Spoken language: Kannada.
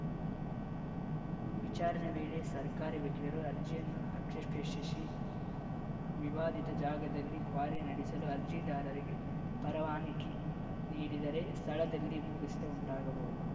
ವಿಚಾರಣೆ ವೇಳೆ ಸರ್ಕಾರಿ ವಕೀಲರು ಅರ್ಜಿಯನ್ನು ಆಕ್ಷೇಪಿಶಿ ವಿವಾದಿತ ಜಾಗದಲ್ಲಿ ಕ್ವಾರಿ ನಡೆಸಲು ಅರ್ಜಿದಾರರಿಗೆ ಪರವಾನಗಿ ನೀಡಿದರೆ ಸ್ಥಳದಲ್ಲಿ ಭೂಕುಸಿತ ಉಂಟಾಗಬಹುದು